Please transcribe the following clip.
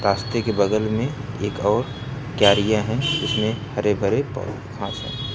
रस्ते के बगल में एक और क्यारिया है जिसमें हरे भरे घास है।